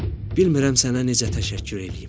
Bilmirəm sənə necə təşəkkür eləyim.